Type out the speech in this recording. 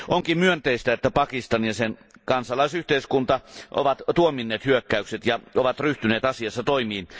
Onkin myönteistä, että Pakistan ja sen kansalaisyhteiskunta ovat tuominneet hyökkäykset ja ryhtyneet asiassa toimiin.